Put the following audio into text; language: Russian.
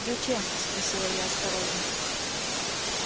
зачем спросила я осторожно